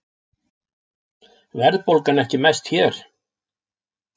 Verðbólgan ekki mest hér